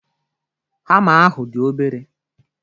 Hama ahụ dị obere.